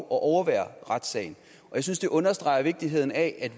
at overvære retssagen jeg synes det understreger vigtigheden af